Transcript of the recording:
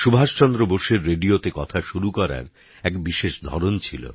সুভাষচন্দ্র বোসের রেডিওতে কথা শুরু করার এক বিশেষ ধরন ছিল